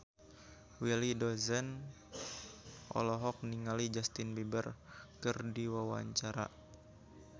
Willy Dozan olohok ningali Justin Beiber keur diwawancara